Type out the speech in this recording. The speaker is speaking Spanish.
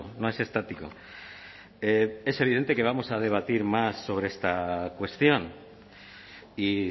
no es estático es evidente que vamos a debatir más sobre esta cuestión y